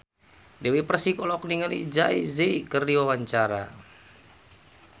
Dewi Persik olohok ningali Jay Z keur diwawancara